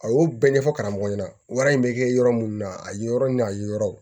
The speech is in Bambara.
A y'o bɛɛ ɲɛfɔ karamɔgɔ ɲɛna wɛrɛ be kɛ yɔrɔ munnu na a ye yɔrɔ ni a ye yɔrɔ